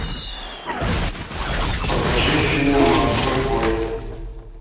покажи фильм морской бой